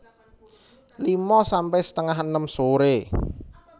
lima sampe setengah enem sore